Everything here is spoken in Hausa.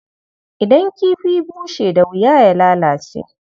Idan kifi bushe da wuya ya lalace.